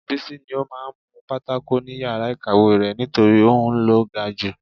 Bísí ní ó máa ń nu pátákò ni yàrá ìkàwé rẹ̀ nítorí òun ló ga ju